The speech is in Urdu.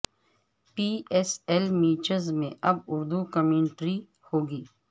پی ایس ایل میچز میں اب اردو کمنٹری ہوگی